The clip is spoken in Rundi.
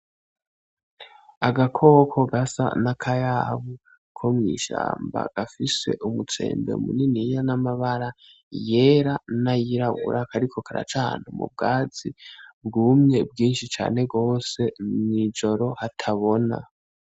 Agakoko gasa n' akayabu ko mw'ishamba gafise umutsembe muniniya n' amabara yera n' ayirabura, kariko karaca ahantu mu bwatsi bwumye bwinshi cane gose mw'ijoro hatabona.